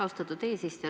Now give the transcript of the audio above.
Austatud eesistuja!